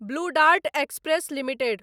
blue Dart Express limited